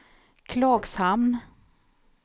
Klagshamn